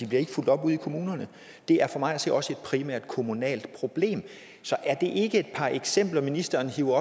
bliver fulgt op ude i kommunerne det er for mig at se også et primært kommunalt problem så er det ikke et par eksempler ministeren hiver